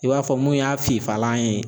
I b'a fɔ mun y'a fifalan ye.